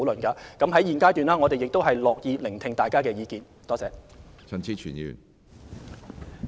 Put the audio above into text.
在現階段，我們樂意聽取大家的意見。